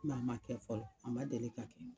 Mɛ a ma kɛ fɔlɔ a ma deli ka kɛ